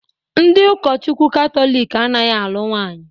Ndị ụkọchukwu Katọlik anaghị alụ nwanyi